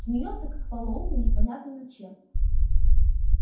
смеётся как полоумный непонятно над чем